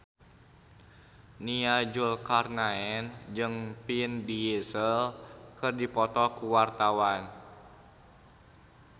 Nia Zulkarnaen jeung Vin Diesel keur dipoto ku wartawan